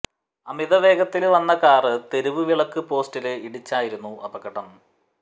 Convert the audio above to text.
അമിത വേഗത്തില് വന്ന കാര് തെരുവ് വിളക്ക് പോസ്റ്റില് ഇടിച്ചായിരുന്നു അപകടം